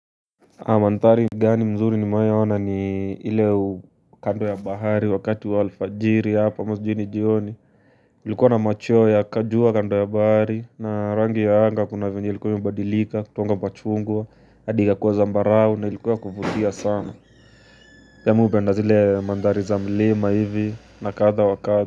Mandhari mzuri nimewahi ni ile kando ya bahari wakati wa alfajiri hapo mjini jioni kulikuwa na machweo ya kajua kando ya bahari na rangi ya anga kuna venye ilikuwa imebadilika kutoka kwa chungwa hadi ikakuwa zambarau na ilikuwa ya kuvutia sana Pia mimi hupenda zile mandhari za mlima hivi na kadha wa kadha.